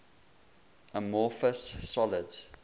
amorphous solids